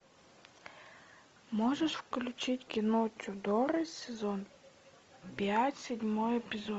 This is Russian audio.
можешь включить кино тюдоры сезон пять седьмой эпизод